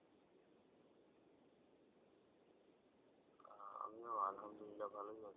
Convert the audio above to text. আমিও আলহামদুলিল্লাহ ভালোই আছি